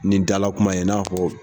Ni dala kuma ye, i n'a fɔ